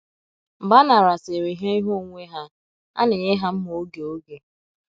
Mgbe a narasịịrị ha ihe onwunwe ha, a na - enye ha mma òge òge